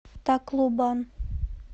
таклобан